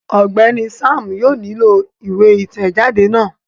Ọgbẹni Sam yóò nilo iwe itẹjade náà